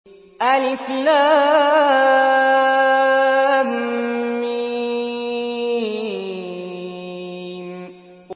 الم